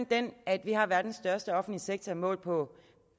den at vi har verdens største offentlige sektor målt på